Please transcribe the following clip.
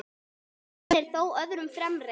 Einn er þó öðrum fremri.